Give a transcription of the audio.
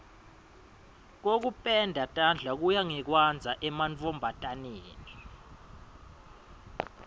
kokupenda tandla kuya ngekwandza emantfombataneni